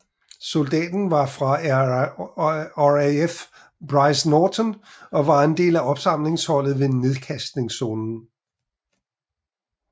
Soldaten var fra RAF Brize Norton og var en del af opsamlingsholdet ved nedkastningszonen